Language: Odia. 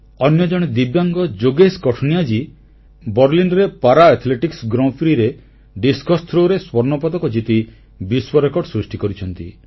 ଅନ୍ୟ ଜଣେ ଦିବ୍ୟାଙ୍ଗ ଯୋଗେଶ କଠୁନିଆ ବର୍ଲିନରେ ପାରାଆଥଲେଟିକ୍ସ ଗ୍ରାଁ ପ୍ରି ରେ ଡିସ୍କସ ଥ୍ରୋ ରେ ସ୍ୱର୍ଣ୍ଣପଦକ ଜିତି ବିଶ୍ୱରେକର୍ଡ ସୃଷ୍ଟି କରିଛନ୍ତି